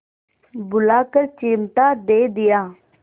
बुलाकर चिमटा दे दिया